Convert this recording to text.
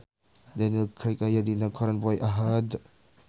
Daniel Craig aya dina koran poe Ahad